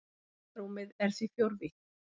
Tímarúmið er því fjórvítt.